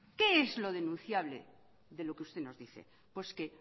qué es lo denunciable de lo que usted nos dice pues que